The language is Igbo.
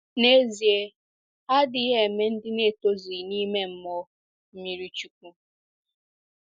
N’ezie, ha adịghị eme ndị na-etozughi n'ime mmụọ mmiri chukwu.